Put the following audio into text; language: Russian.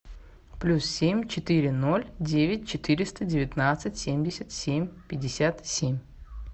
плюс семь четыре ноль девять четыреста девятнадцать семьдесят семь пятьдесят семь